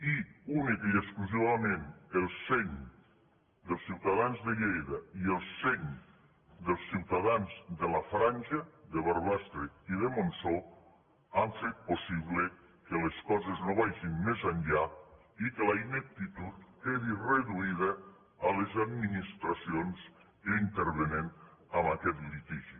i únicament i exclusivament el seny dels ciutadans de lleida i el seny dels ciutadans de la franja de barbastre i de montsó han fet possible que les coses no vagin més enllà i que la ineptitud quedi reduïda a les administracions que intervenen en aquest litigi